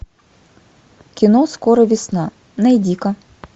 кино скоро весна найди ка